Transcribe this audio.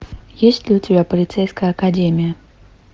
есть ли у тебя полицейская академия